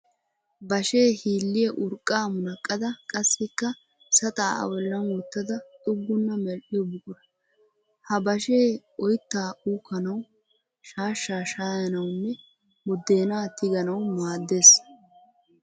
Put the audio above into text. Bashee hiilliya urqqaa munaqqada qassikka saxaa a bollan wottada xuuggana medhdhiyo buqura. Ha bashee oyittaa uukkanawu, shaashshaa shaayanawunne buddeenaa tiganawu maaddes.